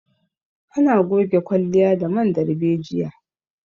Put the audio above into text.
Ana goge kwalliya da man darbejiya